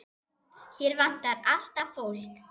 Hér vantar alltaf fólk.